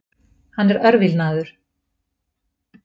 Hann er örvilnaður.